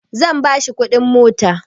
Ni zan ba shi kuɗin mota